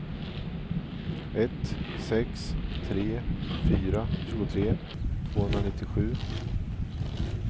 ett sex tre fyra tjugotre tvåhundranittiosju